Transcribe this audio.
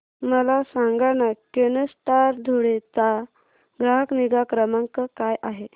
मला सांगाना केनस्टार धुळे चा ग्राहक निगा क्रमांक काय आहे